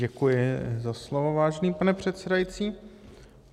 Děkuji za slovo, vážený pane předsedající.